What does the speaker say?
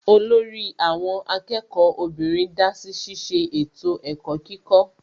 Olórí àwọn akẹ́kọ̀ọ́ obìnrin dásí ṣiṣẹ́ ètò ẹ̀kọ́ kíkọ́